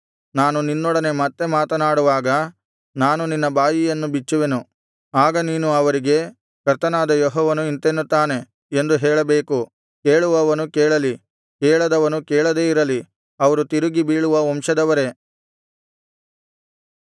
ನಾನು ನಿನ್ನೊಡನೆ ಮತ್ತೆ ಮಾತನಾಡುವಾಗ ನಾನು ನಿನ್ನ ಬಾಯಿಯನ್ನು ಬಿಚ್ಚುವೆನು ಆಗ ನೀನು ಅವರಿಗೆ ಕರ್ತನಾದ ಯೆಹೋವನು ಇಂತೆನ್ನುತ್ತಾನೆ ಎಂದು ಹೇಳಬೇಕು ಕೇಳುವವನು ಕೇಳಲಿ ಕೇಳದವನು ಕೇಳದೇ ಇರಲಿ ಅವರು ತಿರುಗಿ ಬೀಳುವ ವಂಶದವರೇ